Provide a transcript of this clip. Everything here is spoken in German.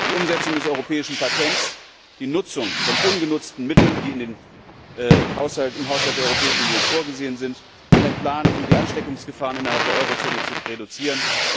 Die Umsetzung des europäischen Patents, die Nutzung von ungenutzten Mitteln, die im Haushalt der Europäischen Union vorgesehen sind, und einen Plan, um die Ansteckungsgefahren innerhalb der Eurozone zu reduzieren.